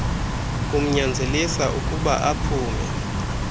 kumnyanzelisa ukuyba aphume